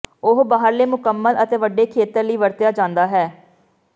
ਉਹ ਬਾਹਰਲੇ ਮੁਕੰਮਲ ਅਤੇ ਵੱਡੇ ਖੇਤਰ ਲਈ ਵਰਤਿਆ ਜਾਦਾ ਹੈ